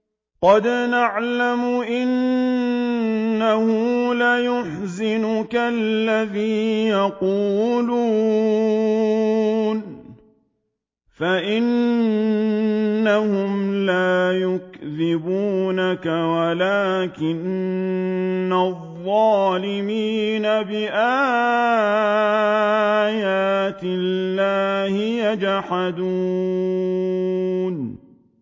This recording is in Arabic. قَدْ نَعْلَمُ إِنَّهُ لَيَحْزُنُكَ الَّذِي يَقُولُونَ ۖ فَإِنَّهُمْ لَا يُكَذِّبُونَكَ وَلَٰكِنَّ الظَّالِمِينَ بِآيَاتِ اللَّهِ يَجْحَدُونَ